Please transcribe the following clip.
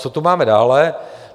Co tu máme dále?